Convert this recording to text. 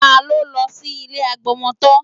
Ta ló lọ sí ilé agbọmọtọ́?